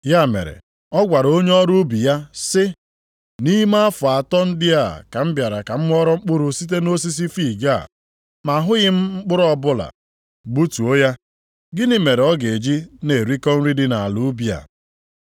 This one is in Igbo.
Ya mere, ọ gwara onye ọrụ ubi ya sị, ‘Nʼime afọ atọ ndị a ka m bịara ka m ghọrọ mkpụrụ site nʼosisi fiig a, ma ahụghị m mkpụrụ ọbụla. Gbutuo ya! Gịnị mere ọ ga-eji na-erikọ nri dị nʼala ubi a?’